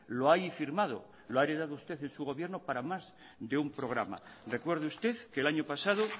lo hay firmado lo ha heredado usted en su gobierno para más de un programa recuerde usted que el año pasado